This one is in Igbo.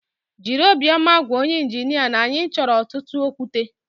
Jịrị obiọma gwa onye injinia na anyị chọrọ ọtụtụ okwute